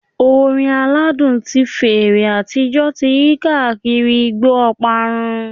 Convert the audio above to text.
Orin aladun ti fèrè atijọ ti yi kaakiri igbo oparun